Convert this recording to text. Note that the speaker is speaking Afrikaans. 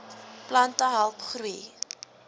plante help groei